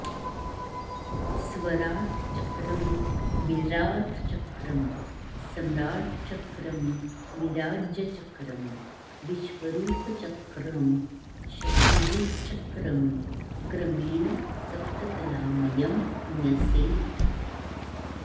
स्वराट्चक्रं विराट्चक्रं समाट्चक्रं विराज्यचक्रं विश्वरूपचक्रं शत्रुजिच्चक्रं क्रमेण सप्तकलामयं न्यसेत्